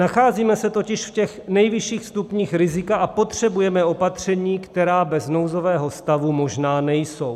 Nacházíme se totiž v těch nejvyšších stupních rizika a potřebujeme opatření, která bez nouzového stavu možná nejsou.